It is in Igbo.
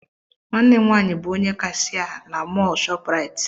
Nwanne m nwaanyị bụ onye kashịa na mọl shoprite